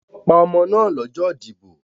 Wọ́n pa ọmọ náà lọ́jọ́ ìdìbò..